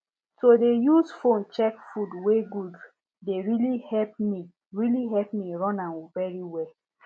to dey use phone check food wey good dey really help me really help me run am very well